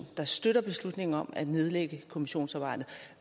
der støtter beslutningen om at nedlægge kommissionsarbejdet